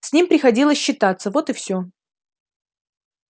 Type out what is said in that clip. с ним приходилось считаться вот и всё